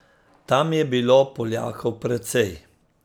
Tam je bilo Poljakov precej.